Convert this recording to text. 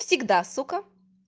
всегда сука